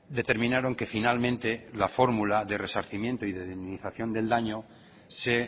determinaron que finalmente la fórmula de resarcimiento y de indemnización del daño se